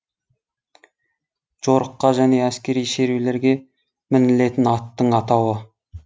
жорыққа және әскери шерулерге мінілетін аттың атауы